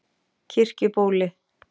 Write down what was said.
Kirkjubóli